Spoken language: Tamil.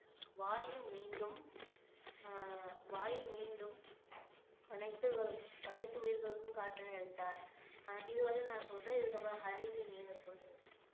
வாயு மீண்டும் ஆஹ் வாயு மீண்டும் அனைத்து அனைத்து உயிர்களுக்கும் காற்றினை அளித்தார் ஆஹ் இதுவரையிலும் நான் சொல்றேன் இதுக்கப்புறம் ஹரினி நீங்க சொல்லுங்க